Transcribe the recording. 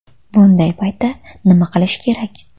Bunday paytda nima qilish kerak?.